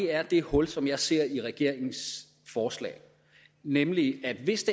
er det hul som jeg ser i regeringens forslag nemlig at hvis